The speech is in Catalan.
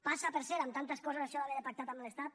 passa per cert amb tantes coses això d’haver de pactar amb l’estat